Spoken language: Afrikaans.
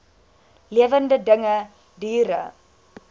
lewende dinge diere